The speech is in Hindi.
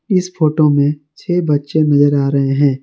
इस फोटो में छह बच्चे नजर आ रहे हैं।